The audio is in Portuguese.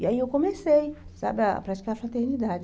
E aí eu comecei, sabe, a praticar fraternidade.